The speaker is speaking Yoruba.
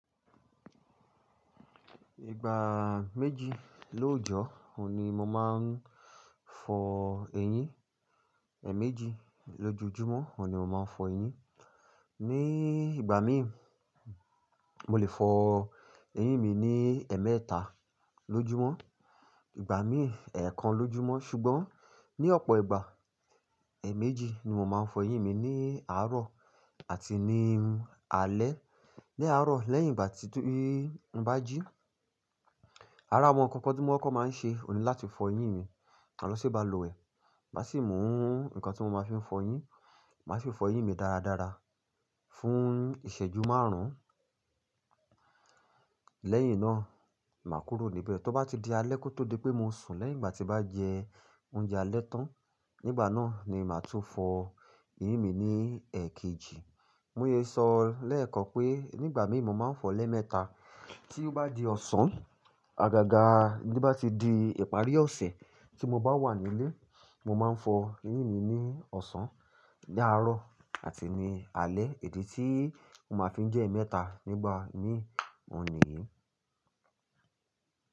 Ìgbà méjì lóòjọ́, òun ni mo máa ń fọ eyín. Méjì lójoojúmọ́, òun ni mo máa ń fọ eyín. Ni ìgbà mí, mo lè fọ eyín mi ní emẹ́ta lójúmọ́. Ìgbà mí, ẹẹkan lójúmọ́ ṣùgbọ́n ní ọ̀pọ̀ ìgbà, ẹẹméjì ni mo máa ń fọ eyín mi ní àárọ̀ àti ní alẹ́. Lé àárọ̀ lẹ́yìn ìgbà tí n bá jí. Ara àwọn nǹkan tí mo kọ́ máa ń ṣe, òun ni láti fọ eyín mi. Màá lọ si bá lu wẹ? Màá sì mú nǹkan tí mo máa fi ń fọ eyín, màá sì fọ eyín mi dáradára fún ìṣẹ́jú márùn-ún. Lẹ́yìn náà, màá kúrò níbẹ̀. Tó bá ti di alẹ́ kó tó di pé mo sùn lẹ́yìn ìgbà tí bá jẹ oúnjẹ alẹ́ tán, nígbà náà ni màá tún fọ eyín mi ní ẹẹkejì. Múye sọ lẹ́ẹ̀kan pé nígbà mí mo máa ń fọ lẹ́ mẹ́ta. Tí ó bá di ọ̀sán, àgàgà ní bá ti di ìparí ọ̀sẹ̀ tí mo bá wà nílé, mo máa ń fọ eyín mi ní ọ̀sán, ní àárọ̀ àti ní alẹ́. Èdè tí mo máa fi ń jẹ́ ẹmẹ́ta nígbà mí, òun nìyí.